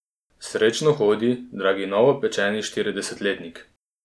Srečno hodi, dragi novopečeni štiridesetletnik.